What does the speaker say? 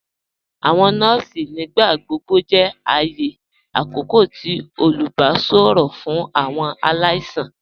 Awọn nọọ̀sì nígbàgbọ̀gbọ̀ jẹ́ ààyẹ̀ àkókò tì olùbàṣọ̀rọ̀ fún awọn aláìsàn.